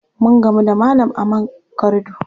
Mun gamu da malam a man korido.